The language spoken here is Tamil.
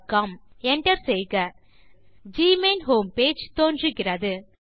Enter செய்க ஜிமெயில் ஹோம் பேஜ் தோன்றுகிறது